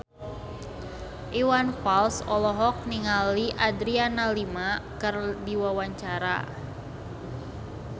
Iwan Fals olohok ningali Adriana Lima keur diwawancara